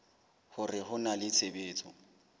hore ho na le tshebetso